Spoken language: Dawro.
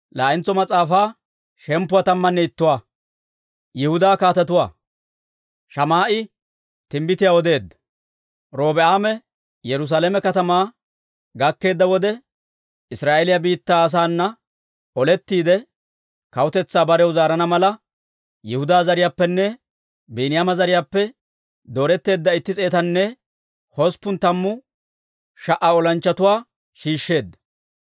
Robi'aame Yerusaalame katamaa gakkeedda wode, Israa'eeliyaa biittaa asaana olettiide, kawutetsaa barew zaarana mala, Yihudaa zariyaappenne Biiniyaama zariyaappe dooretteedda itti s'eetanne hosppun tammu sha"a olanchchatuwaa shiishsheedda.